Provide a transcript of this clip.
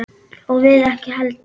Og við ekki heldur.